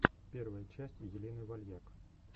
первая часть елены вальяк